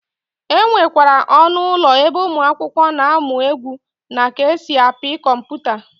E nwekwara ọnụ ụlọ ebe ụmụakwụkwọ na-amụ egwu na ka esi apị kọmputa.